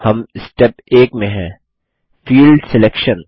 हम स्टेप 1 में हैं फील्ड सिलेक्शन